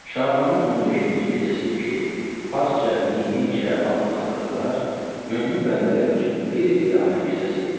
Şabanın 15-ci gecəsi ki, farsca Nimi Şaban adlandırılır, mömin bəndələr üçün bir qiyamət gecəsi idi.